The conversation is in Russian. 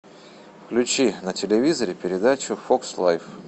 включи на телевизоре передачу фокс лайф